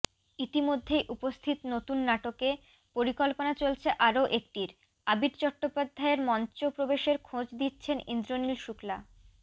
ইতিমধ্যেই উপস্থিত নতুন নাটকে পরিকল্পনা চলছে আরও একটির আবির চট্টোপাধ্যায়ের মঞ্চপ্রবেশের খোঁজ দিচ্ছেন ইন্দ্রনীল শুক্লা